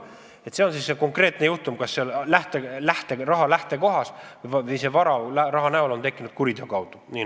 Need on konkreetsed juhtumid seal raha lähtekohas: see vara raha näol on tekkinud kuriteo tulemusel.